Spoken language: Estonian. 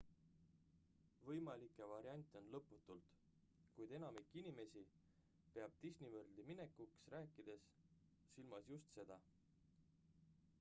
võimalikke variante on lõputult kuid enamik inimesi peab disney worldi minekust rääkides silmas just seda